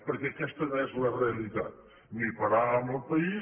perquè aquesta no és la realitat ni paràvem el país